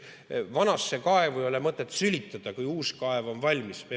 Vanasse kaevu ei ole mõtet sülitada enne, kui uus kaev on valmis.